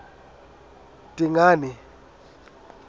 dingane